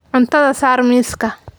Cuntada saar miiska.